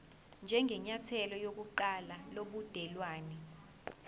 njengenyathelo lokuqala lobudelwane